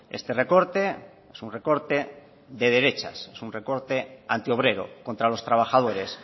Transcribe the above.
este recorte es un recorte de derechas es un recorte anti obrero contra los trabajadores